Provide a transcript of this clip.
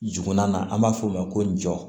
Jurunina an b'a f'o ma ko jɔ